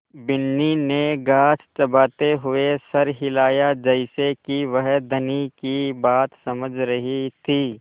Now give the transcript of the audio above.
बिन्नी ने घास चबाते हुए सर हिलाया जैसे कि वह धनी की बात समझ रही थी